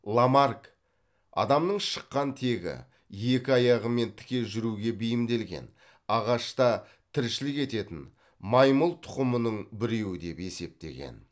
ламарк адамның шыққан тегі екі аяғымен тіке жүруге бейімделген ағашта тіршілік ететін маймыл тұқымының біреуі деп есептеген